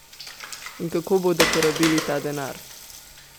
In kako bodo porabili ta denar?